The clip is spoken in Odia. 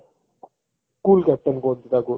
cool captain କୁହନ୍ତି ତାକୁ